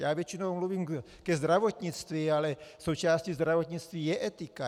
Já většinou mluvím ke zdravotnictví, ale součástí zdravotnictví je etika.